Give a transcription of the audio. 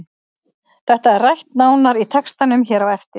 Þetta er rætt nánar í textanum hér á eftir.